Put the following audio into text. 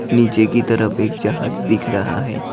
नीचे की तरफ एक जहाज दिख रहा है।